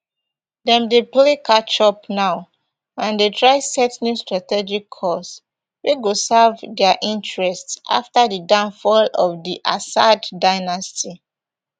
dem dey play catch up now and dey try set new strategic course wey go serve dia interests afta di downfall of di assad dynasty